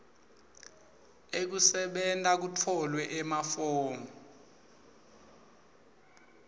ekusebenta kutfolwe emafomu